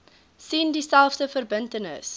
sien dieselfde verbintenis